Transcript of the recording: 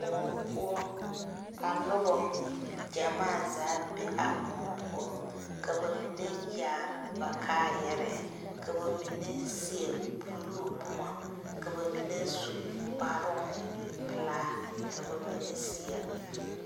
Koɔ poʊ. Ka noba gyamaa zaa be a koɔ poʊ. Ka ba mene yaare ba kaayare. Ka ba mene seɛ buluu boma. Ka ba mene su kparoŋ pulaa ka ba mene seɛ